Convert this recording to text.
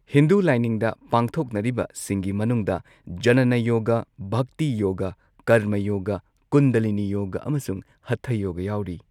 ꯍꯤꯟꯗꯨ ꯂꯥꯏꯅꯤꯡꯗ, ꯄꯥꯡꯊꯣꯛꯅꯔꯤꯕꯁꯤꯡꯒꯤ ꯃꯅꯨꯡꯗ ꯖꯅꯥꯅ ꯌꯣꯒꯥ, ꯚꯛꯇꯤ ꯌꯣꯒꯥ, ꯀꯔꯃ ꯌꯣꯒꯥ, ꯀꯨꯟꯗꯂꯤꯅꯤ ꯌꯣꯒꯥ, ꯑꯃꯁꯨꯡ ꯍꯊꯥ ꯌꯣꯒ ꯌꯥꯎꯔꯤ꯫